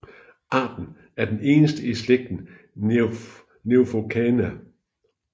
Arten er den eneste i slægten Neophocaena